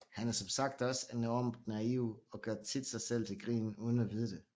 Han er som sagt også enormt naiv og gør tit sig selv til grin uden at vide det